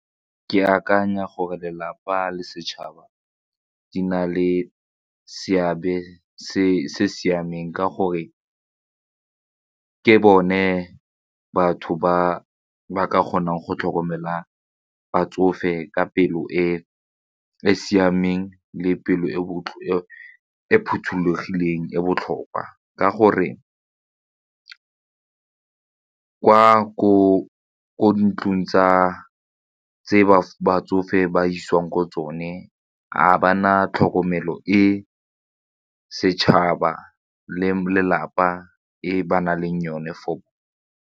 Ke akanya gore lelapa le setšhaba di na le seabe se se siameng ka gore ke bone batho ba ba ka kgonang go tlhokomela batsofe ka pelo e e siameng le pelo e phothulogileng e botlhokwa ka gore kwa ko ntlong tse batsofe ba isiwang ko tsone ga ba na tlhokomelo e setšhaba le lelapa e ba na leng yone for .